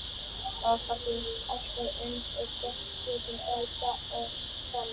Okkur finnst alltaf eins og við getum bætt okkur og það er þannig.